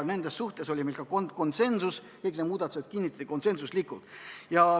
Nendes oli meil ka konsensus, kõik need muudatused kinnitati konsensuslikult.